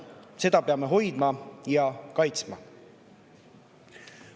Seda peame hoidma ja kaitsma.